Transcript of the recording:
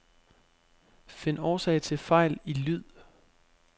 Find årsag til fejl i lyd.